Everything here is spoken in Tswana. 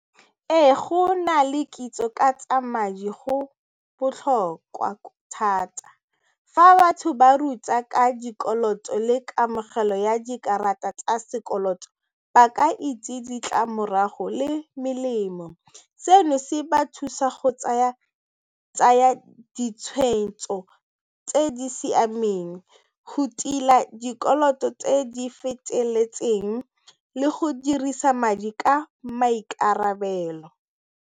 Ee go na le kitso ka tsa madi go botlhokwa thata fa batho ba ruta ka dikoloto le kamogelo ya dikarata tsa sekoloto ba ka itse ditlamorago le melemo, seno se ba thusa go tsaya ditshwetso tse di siameng go tila dikoloto tse di feteletseng le go dirisa madi ka maikarabelo.